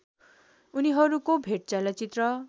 उनीहरूको भेट चलचित्र